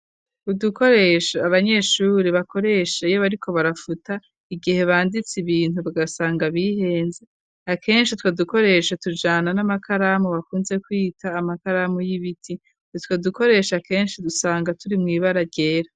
Udukoresho abanyeshure bakoresha iyo bariko barafuta igihe banditse ibintu bagasanga bihenze akenshi utwo dukoresha tujana n'amakaramu bakunze kwita amakaramu y'ibiti utwo dukoresho akenshi udusanga turi mw'ibara ryera.